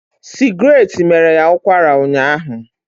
Sigratte mere ya ụkwara ụnyaahụ